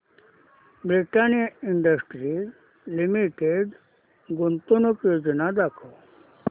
Britannia Industries Limited गुंतवणूक योजना दाखव